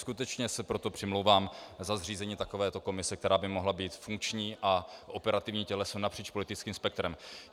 Skutečně se proto přimlouvám za zřízení takovéto komise, která by mohla být funkční a operativní těleso napříč politickým spektrem.